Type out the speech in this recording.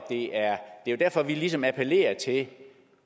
det er jo derfor vi ligesom appellerer til